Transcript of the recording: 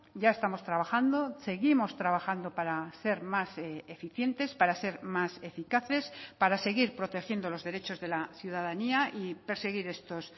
ya estamos trabajando seguimos trabajando para ser más eficientes para ser más eficaces para seguir protegiendo los derechos de la ciudadanía y perseguir estos